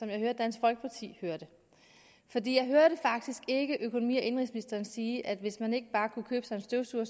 jeg hører at dansk folkeparti hørte det jeg hørte faktisk ikke økonomi og indenrigsministeren sige at hvis man ikke bare kunne købe sig en støvsuger